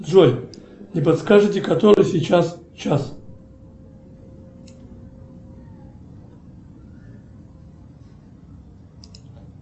джой не подскажите который сейчас час